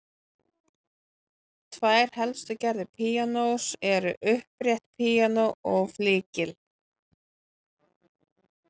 Tvær helstu gerðir píanós eru upprétt píanó og flygill.